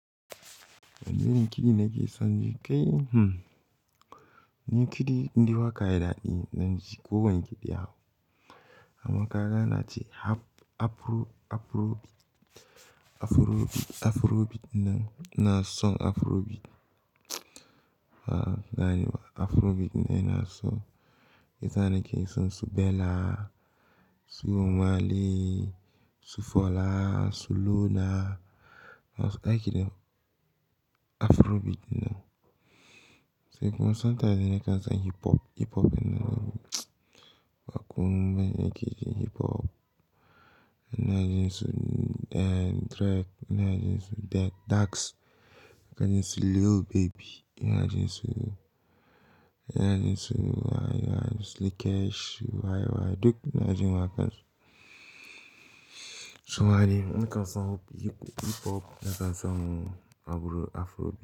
Wanne irin kiɗi nake son ji? Kai hmm. Ni kiɗi indai waka yayi daɗi zan ji kowanne kiɗi ya hau. Amma ka ga ana ce Af-Afro, Afrobeat, Afrobeat ɗin nan, ina son Afrobeat. A'a, na yi wa Afrobeat ne ina so. Sesa nake son su Bella, su Omah Lay, su Fola, su Luna. Na so ai kidan Afrobeat na. Sai kuma sometimes ne nakan son hip hop, hip hop ɗin nan. Akwai mamen nake ji hip hop. Na ji su, eh, Dre, na ji su D-Dax, na ji su Lil Baby, na ji su, ina ji su, wa, wa, Slikkesh, waye, waye, duk ina ji waƙar su. Suma ne, nakan so hip hop, nakan so abubuwa Afro.